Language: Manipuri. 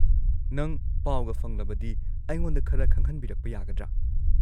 ꯅꯪ ꯄꯥꯎꯒ ꯐꯪꯂꯕꯗꯤ ꯑꯩꯉꯣꯟꯗ ꯈꯔ ꯈꯪꯍꯟꯕꯤꯔꯛꯄ ꯌꯥꯒꯗ꯭ꯔꯥ?